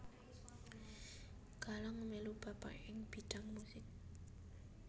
Galang melu bapakè ing bidang musik